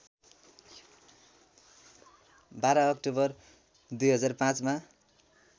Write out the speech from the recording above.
१२ October २००५ मा